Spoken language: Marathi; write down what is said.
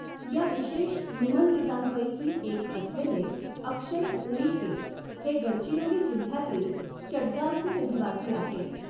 या विशेष निमंत्रितांपैकी एक असलेले अक्षय ऊईके हे गडचिरोली जिल्ह्यातील चटगावचे रहिवासी आहेत.